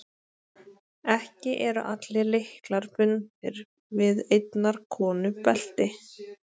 Ekki eru allir lyklar bundnir við einnar konu belti.